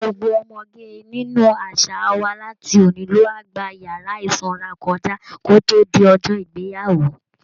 Gbogbo ọmọge nínú àṣà wa láti òní lọ á gba yàrá ìsanra kọjá kó tó di ọjọ́ ìgbéyàwó